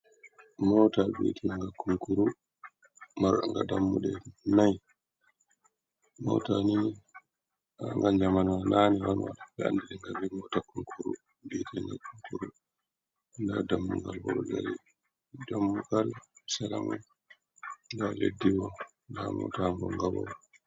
Mota biitiga kunkuru. Marga dammuɗe naai. mota ni ga zamanawa nane on be anɗiringa be mota kunkuru. Vietenga kunkuru. Nda dammugal ba ɗo ɗari. Ɗammugal seramai. Nɗa leddibo. Nda mota ngonga boo.